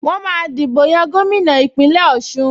Wọ́n máa dìbò yan gómìnà Ìpínlẹ̀ Ọ̀ṣun